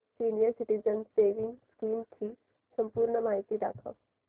senior citizens savings scheme ची संपूर्ण माहिती दाखव